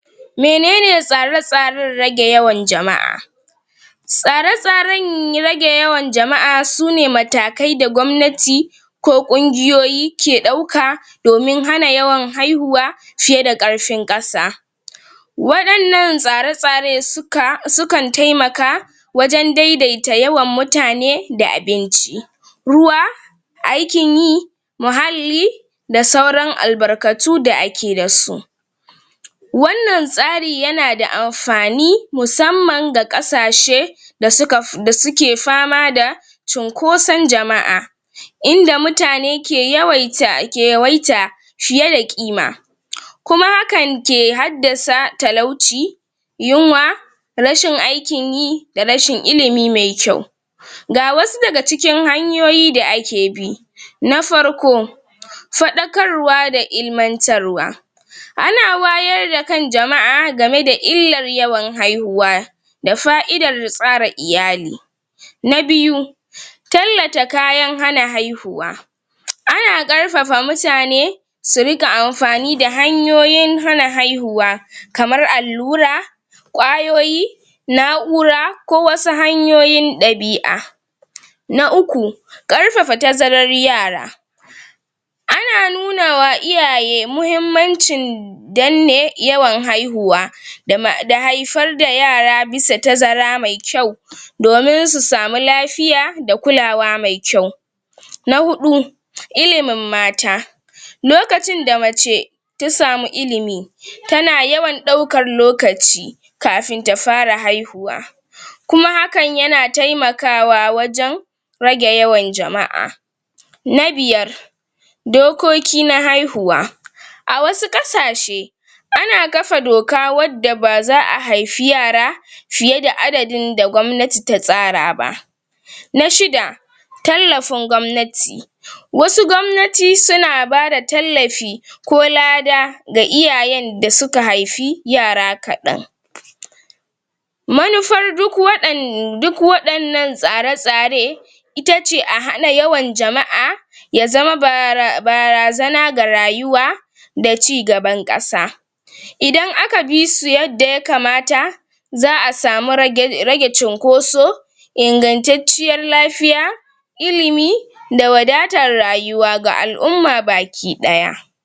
Menene tsare-tsaren rage yawan jama'a? Tsare-tsaren rage yawan jama'a sune matakai da gwamnati ko ƙungiyoyi ke ɗauka domin hana yawan haihuwa fiyeda ƙarfin ƙasa waɗannan tsare-tsare suka sukan taimaka wajen daidaita yawan mutane, da abinci ruwa aikin yi muhalli da sauran albarkatu da ake dasu wannan tsari yanada amfani musamman ga ƙasashe da suka? da suke fama da cunkoson jama'a inda mutane ke yawaita, ke yawaita fiyeda ƙima kuma hakan ke haddasa talauci yunwa rashin aikin yi da rashin ilimi me kyau Ga wasu daga cikin hanyoyi da ake bi Na farko Faɗakarwa da ilimantarwa Ana wayar da kan jama'a game da illar yawan haihuwa da fa'idar tsara iyali Na biyu Tallata kayan hana haihuwa ana ƙarfafa mutane su riƙa amfani da hanyoyin hana haihuwa kamar allura ƙwayoyi na'ura, ko wasu hanyoyin ɗabi'a Na uku ƙarfafa tazarar yara ana nunawa iyaye muhimmancin danne yawan haihuwa da ma, da haifar da yara bisa tazara mai kyau domin su samu lafiya da kulawa mai kyau Na huɗu Ilimin mata lokacin da mace ta samu ilimi tana yawan ɗaukar lokaci kafin ta fara haihuwa kuma hakan yana taimakawa wajen rage yawan jama'a Na biyar Dokoki na haihuwa A wasu ƙasashe ana kafa doka wadda ba za'a haifi yara fiyeda adadin da gwamnati ta tsara ba Na shida Tallafin gwamnati Wasu gwamnati suna bada tallafi ko lada ga iyayen da suka haifi yara kaɗan Manufar duk waɗan, duk waɗannan tsare-tsare itace a hana yawan jama'a ya zama bara barazana ga rayuwa da cigaban ƙasa idan aka bisu yadda ya kamata za'a samu rage rage cunkoso ingantacciyar lafiya ilimi da wadatar rayuwa ga al'umma baki ɗaya.